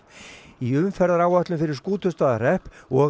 í umferðaráætlun fyrir Skútustaðahrepp og